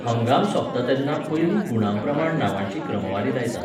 हंगाम सोंपता तेन्ना पयलीं गुणांप्रमाण नांवांची क्रमवारी लायतात.